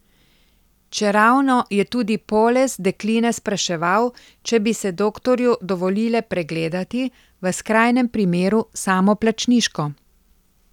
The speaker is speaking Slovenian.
Čeravno je tudi Poles dekline spraševal, če bi se doktorju dovolile pregledati, v skrajnem primeru samoplačniško.